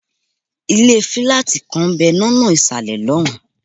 ilé fílátì kan ń bẹ̀ lọ́nà ìsàlẹ̀ lọ́hùn-ún.